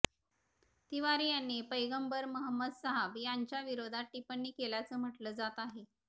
तिवारी यांनी पैगंबर मोहम्मद साहब यांच्याविरोधात टिप्पणी केल्याचं म्हटलं जात आहे